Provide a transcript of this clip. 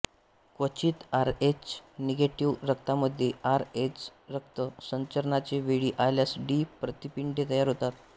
क्वचित RH negative रक्तामध्ये R H रक्त संचरणाचे वेळी आल्यास डी प्रतिपिंडे तयार होतात